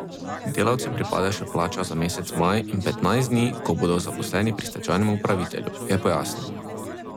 Delavcem pripada še plača za mesec maj in petnajst dni, ko bodo zaposleni pri stečajnem upravitelju, je pojasnil.